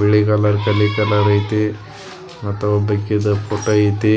ಬಿಳಿ ಕಲರ್ ಕರಿ ಕಲರ್ ಐತಿ ಮತ ಒಬಕಿದ ಫೋಟೋ ಐತಿ.